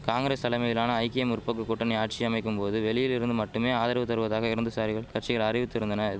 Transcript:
காங்கிரஸ் தலைமையிலான ஐக்கிய முற்போக்கு கூட்டணி ஆட்சி அமைக்கும் போது வெளியிலிருந்து மட்டுமே ஆதரவு தருவதாக இரந்துசாரிகள் கட்சிகள் அறிவித்திருந்தன